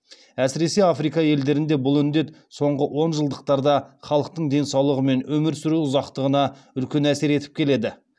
әсіресе африка елдерінде бұл індет соңғы онжылдықтарда халықтың денсаулығы мен өмір сүру ұзақтығына үлкен әсер етіп келеді